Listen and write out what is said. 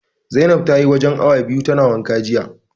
Zainab tayi wajen awa biyu tana wanka jiya.